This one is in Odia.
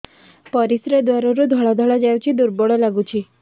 ପରିଶ୍ରା ଦ୍ୱାର ରୁ ଧଳା ଧଳା ଯାଉଚି ଦୁର୍ବଳ ଲାଗୁଚି